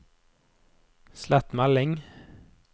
slett melding